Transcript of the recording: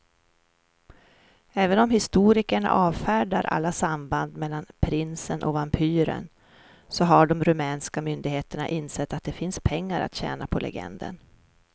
Även om historikerna avfärdar alla samband mellan prinsen och vampyren så har de rumänska myndigheterna insett att det finns pengar att tjäna på legenden.